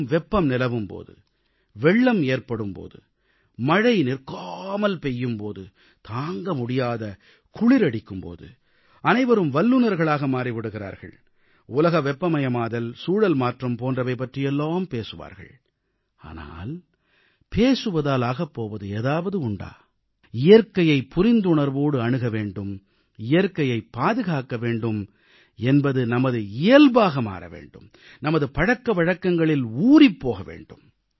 கடும் வெப்பம் நிலவும் போது வெள்ளம் ஏற்படும் போது மழை நிற்காமல் பெய்யும் போது தாங்கமுடியாத குளிர் அடிக்கும் போது அனைவரும் வல்லுநர்களாக மாறி விடுகிறார்கள் உலக வெப்பமயமாதல் சூழல்மாற்றம் போன்றவை பற்றியெல்லாம் பேசுவார்கள் ஆனால் பேசுவதால் ஆகப்போவது ஏதாவது உண்டா இயற்கையைப் புரிந்துணர்வோடு அணுக வேண்டும் இயற்கையைப் பாதுகாக்க வேண்டும் என்பது நமது இயல்பாக மாற வேண்டும் நமது பழக்கவழக்கங்களில் ஊறிப்போக வேண்டும்